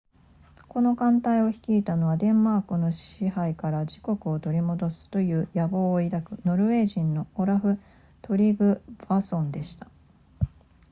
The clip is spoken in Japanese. この艦隊を率いたのはデンマークの支配から自国を取り戻すという野望を抱くノルウェー人のオラフトリグヴァッソンでした